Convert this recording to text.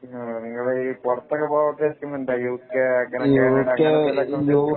നിങ്ങൾ പുറത്തൊക്കെ പോകുന്ന സ്കീം ഉണ്ടോ യു കെ അങ്ങനെ ഒക്കെ